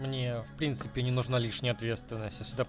мне в принципе не нужна лишняя ответственность а сюда